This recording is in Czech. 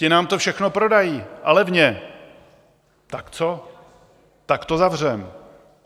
Ti nám to všechno prodají, a levně, tak co, tak to zavřeme.